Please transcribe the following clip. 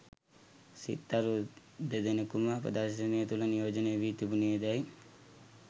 සිත්තරු දෙදෙනෙකුම ප්‍රදර්ශනය තුළ නියෝජනය වී තිබුණේදැයි